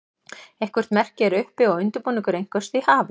eitthvert merki er uppi og undirbúningur einhvers því hafinn